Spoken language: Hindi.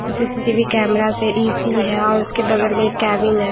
कुछ सी_सी_टी_वी कैमरास है ए_सी है और उसके बगल में एक केबिन है।